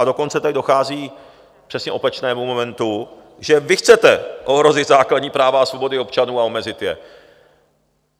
A dokonce tady dochází k přesně opačnému momentu, že vy chcete ohrozit základní práva a svobody občanů a omezit je.